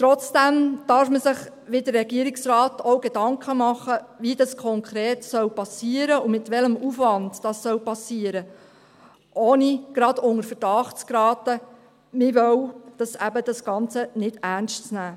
Trotzdem darf man sich, wie der Regierungsrat, auch Gedanken machen, wie und mit welchem Aufwand das geschehen soll, ohne gleich unter Verdacht zu geraten, man wolle das Ganze nicht ernst nehmen.